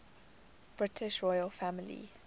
british royal family